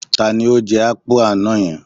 Ta ni ó jẹ ápù àná yẹn?